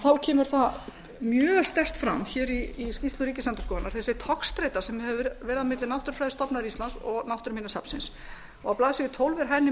þá kemur það mjög sterkt fram í skýrslu ríkisendurskoðunar þessi togstreita se hefur verið milli náttúrufræðistofnunar íslands og náttúruminjasafnsins á blaðsíðu tólf er henni